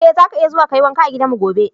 Eh, zaka iya zuwa ka yi wanka a gidanmu gobe.